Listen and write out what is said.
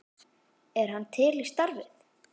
Er hann til í starfið?